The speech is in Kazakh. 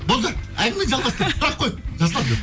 болды әңгімені жалғастыр сұрақ қой жасұлан